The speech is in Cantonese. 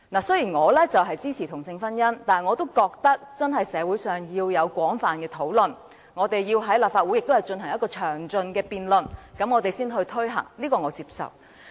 雖然我支持同性婚姻，但我也覺得真的要在社會進行廣泛討論，以及在立法會進行詳盡辯論後才可推行，這點我是接受的。